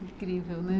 Incrível, né?